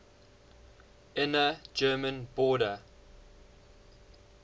inner german border